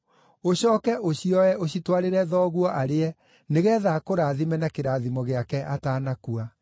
Ũcooke ũcioe ũcitwarĩre thoguo arĩe nĩgeetha akũrathime na kĩrathimo gĩake atanakua.”